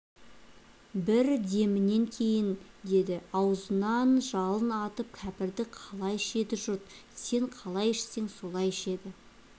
бір демінен кейін деді аузынан жалын атып кәпірді қалай ішеді жұрт сен қалай ішсең солай ішеді